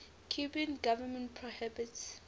cuban government prohibits